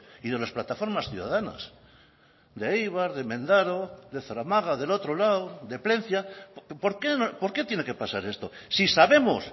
y de las plataformas ciudadanas de eibar de mendaro de zaramaga del otro lado de plentzia por qué tiene que pasar esto si sabemos